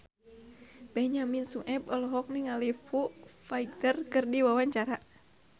Benyamin Sueb olohok ningali Foo Fighter keur diwawancara